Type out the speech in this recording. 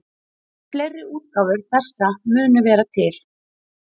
Og fleiri útgáfur þessa munu vera til.